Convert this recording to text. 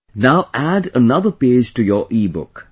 Now, add another page to your EBook